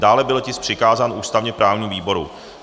Dále byl tisk přikázán ústavně-právnímu výboru.